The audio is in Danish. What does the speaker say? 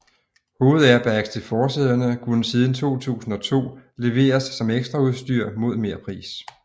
Hovedairbags til forsæderne kunne siden 2002 leveres som ekstraudstyr mod merpris